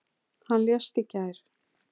Hann lést í gær.